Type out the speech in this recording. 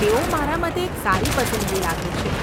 તેઓ મારા મતે એક સારી પસંદગી લાગે છે.